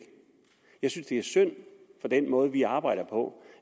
jeg synes det er synd for den måde vi arbejder på